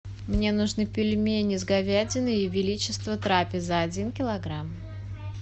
мне нужны пельмени с говядиной ее величество трапеза один килограмм